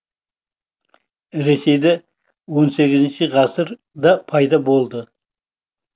ресейде он сегізінші ғасырда пайда болды